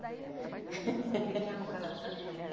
O que que é um caratã?